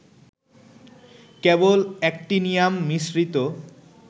কেবল actinium মিশ্রিত